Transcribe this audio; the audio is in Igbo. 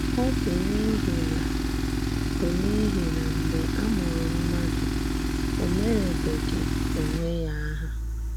Ọ bụ́ n’íhì na bụ́ n’íhì na mgbe a mùrù mmádụ, ò mèrèbèghị onwe ya àhà.